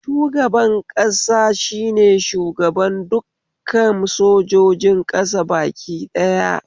Shugaban ƙasa shine shugaban dukkan sojojin ƙasa baki ɗaya